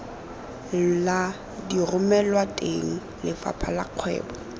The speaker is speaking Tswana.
la diromelwateng lefapha la kgwebo